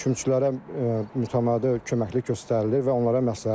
Kümçülərə mütəmadi köməklik göstərilir və onlara məsləhət verilir.